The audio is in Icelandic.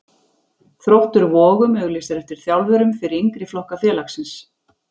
Þróttur Vogum auglýsir eftir þjálfurum fyrir yngri flokka félagsins.